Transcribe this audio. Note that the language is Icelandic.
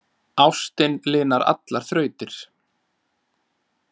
Ástin linar allar þrautir